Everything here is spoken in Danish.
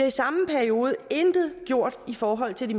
i samme periode intet gjort i forhold til